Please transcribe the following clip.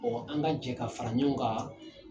Mɔgɔ an ka jɛn k'an fara ɲɔgɔn kan.